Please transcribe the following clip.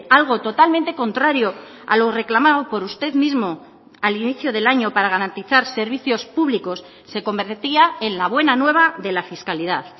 algo totalmente contrario a lo reclamado por usted mismo al inicio del año para garantizar servicios públicos se convertía en la buena nueva de la fiscalidad